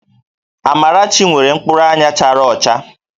Amarachi nwere mkpụrụ anya chara ọcha